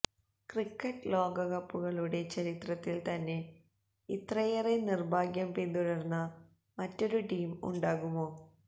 cricket ലോകകപ്പുകളുടെ ചരിത്രത്തില് തന്നെ ഇത്രയേറെ നിര്ഭാഗ്യം പിന്തുടര്ന്ന മറ്റൊരു ടീം ഉണ്ടാകുമോ